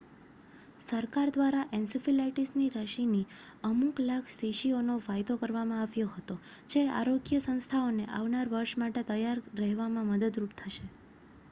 સરકાર દ્વારા એનસીફીલાઇટીસ રસીની અમુક લાખ શીશીઓનો વાયદો કરવામાં આવ્યો હતો જે આરોગ્ય સંસ્થાઓને આવનાર વર્ષ માટે તૈયાર રહેવામાં મદદરૂપ થશે